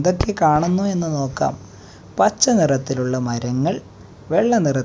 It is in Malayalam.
ന്തൊക്കെ കാണുന്നു എന്ന് നോക്കാം പച്ച നിറത്തിലുള്ള മരങ്ങൾ വെള്ള നിറത്ത് --